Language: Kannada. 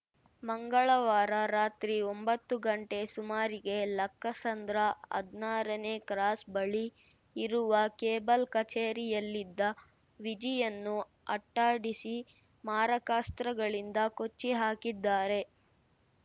ಮಂಗಳವಾರ ರಾತ್ರಿ ಒಂಬತ್ತು ಗಂಟೆ ಸುಮಾರಿಗೆ ಲಕ್ಕಸಂದ್ರ ಹದ್ನಾರನೇ ಕ್ರಾಸ್‌ ಬಳಿ ಇರುವ ಕೇಬಲ್‌ ಕಚೇರಿಯಲ್ಲಿದ್ದ ವಿಜಿಯನ್ನು ಅಟ್ಟಾಡಿಸಿ ಮಾರಕಾಸ್ತ್ರಗಳಿಂದ ಕೊಚ್ಚಿ ಹಾಕಿದ್ದಾರೆ